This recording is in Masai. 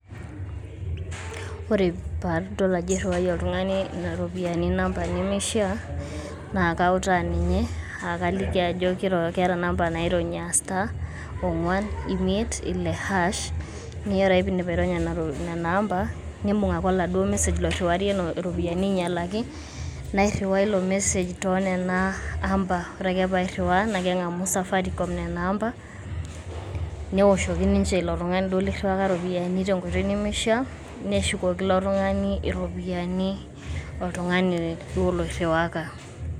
ore padol ajo iriwayie oltungana iropiyiani namba nemeishiaa naa kautaa ninye aa kaliki ajo keeta inamba naironya aa star ongwan imiet ile hash .naa ore ake pindip aironya nena amba nimbung ake oladuoo m message loiriwayie iropiani ainyalaki nairiwaa ilo message tonena amba .ore ake pairiwaa naa kengamu nena amba, neoshoki ninche ilo tungani duo liriwaka iropiyiani tenkoitoi nemeishiaa ,neshukoki ilo tungani iropiyiani oltungani duo loiriwaka.